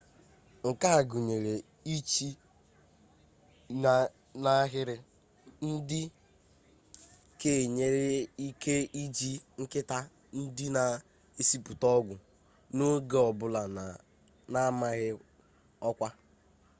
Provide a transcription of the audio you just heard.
nke a gụnyere iche n'ahịrị dị ka enwere ike iji nkịta ndị na-esipụta ọgwụ n'oge ọ bụla na-amaghị ọkwa